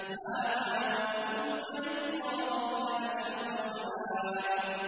هَٰذَا ۚ وَإِنَّ لِلطَّاغِينَ لَشَرَّ مَآبٍ